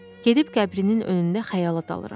Gedib qəbrinin önündə xəyala dalıram.